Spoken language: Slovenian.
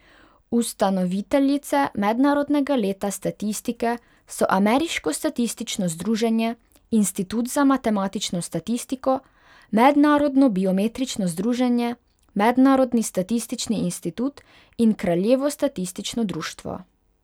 Ustanoviteljice Mednarodnega leta statistike so Ameriško statistično združenje, Institut za matematično statistiko, Mednarodno biometrično združenje, Mednarodni statistični institut in Kraljevo statistično društvo.